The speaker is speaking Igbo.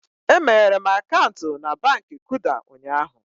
E meghere m akaụntụ na Baankị Kuda ụnyaahụ